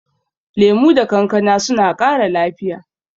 Lemu da kankana suna ƙara lafiya.